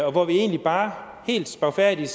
og hvor vi egentlig bare helt spagfærdigt